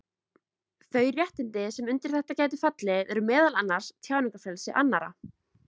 Þau réttindi sem undir þetta gætu fallið eru meðal annars tjáningarfrelsi annarra.